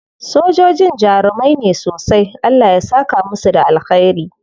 Sojojin jarumai ne sosai. Allah ya saka musu da alkhairi.